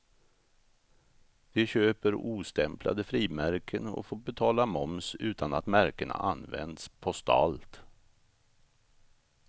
De köper ostämplade frimärken och får betala moms utan att märkena används postalt.